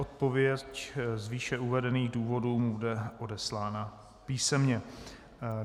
Odpověď z výše uvedených důvodů mu bude odeslána písemně.